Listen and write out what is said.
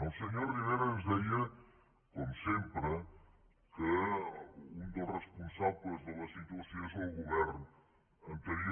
el senyor rivera ens deia com sempre que un dels responsables de la situació és el govern anterior